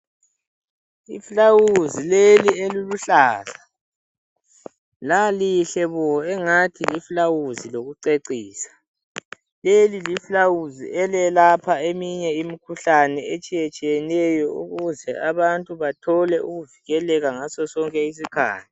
Ifulawuzi leli eliluhlaza, lalihle bo engathi lifulawuzi lokucecisa. Leli lifulawuzi elelapha eminye imikhuhlane etshiyetshiyeneyo ukuze abantu bathole ukuvikeleka ngaso sonke isikhathi.